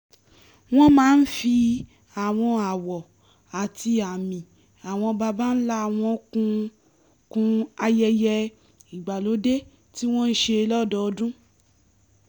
wọ́n máa ń fi àwọn àwọ̀ àti àmì àwọn babańlá wọn kún kún ayẹyẹ ìgbàlódé tí wọ́n ń ṣe lọ́dọọdún